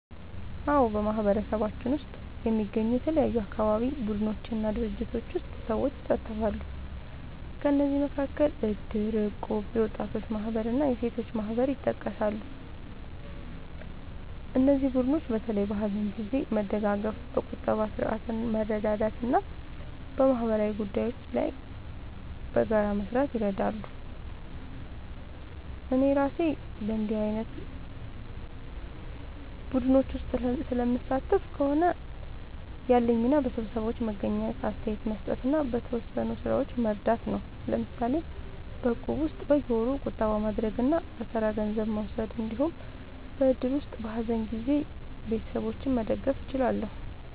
አዎ፣ በማህበረሰባችን ውስጥ የሚገኙ የተለያዩ አካባቢ ቡድኖች እና ድርጅቶች ውስጥ ሰዎች ይሳተፋሉ። ከእነዚህ መካከል እድር፣ እቁብ፣ የወጣቶች ማህበር እና የሴቶች ማህበር ይጠቀሳሉ። እነዚህ ቡድኖች በተለይ በሀዘን ጊዜ መደጋገፍ፣ በቁጠባ ስርዓት መርዳት እና በማህበራዊ ጉዳዮች ላይ በጋራ መስራት ይረዳሉ። እኔ እራሴ በእንዲህ ዓይነት ቡድኖች ውስጥ ስለምሳተፍ ከሆነ፣ ያለኝ ሚና በስብሰባዎች መገኘት፣ አስተያየት መስጠት እና በተወሰኑ ሥራዎች መርዳት ነው። ለምሳሌ በእቁብ ውስጥ በየወሩ ቁጠባ ማድረግ እና በተራ ገንዘብ መውሰድ እንዲሁም በእድር ውስጥ በሀዘን ጊዜ ቤተሰቦችን መደገፍ እችላለሁ።